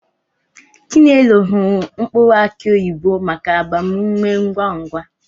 Chinelo hụrụ mkpụrụ aki oyibo maka agbam ume ngwa ngwa.